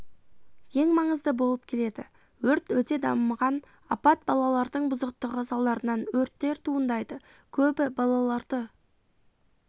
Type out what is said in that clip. ең маңызды болып келеді өрт өте дамыған апат балалардың бұзықтығы салдарынан өрттер туындайды көбі балаларды